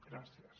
gràcies